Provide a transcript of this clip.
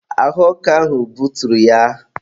ahụ ọkụ ahụ buturu ya.